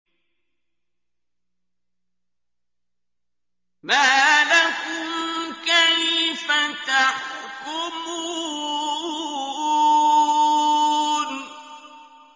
مَا لَكُمْ كَيْفَ تَحْكُمُونَ